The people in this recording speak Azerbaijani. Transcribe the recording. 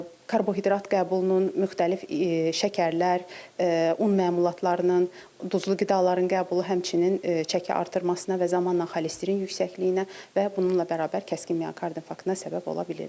Karbohidrat qəbulunun müxtəlif şəkərlər, un məmulatlarının, duzlu qidaların qəbulu həmçinin çəki artırmasına və zamanla xolesterin yüksəkliyinə və bununla bərabər kəskin miyokard infarktına səbəb ola bilirlər.